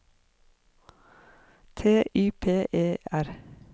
T Y P E R